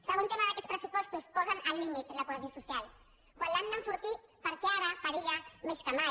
segon tema d’aquests pressupostos posen al límit la cohesió social quan l’han d’enfortir perquè ara perilla més que mai